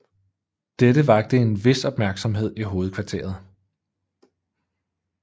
Dette vakte en vis opmærksomhed i hovedkvarteret